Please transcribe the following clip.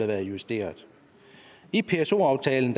været justeret i pso aftalen